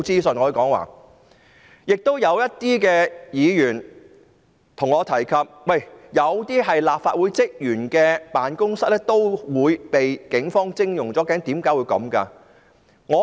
此外，部分議員向我提及，有些立法會職員的辦公室也被警方徵用。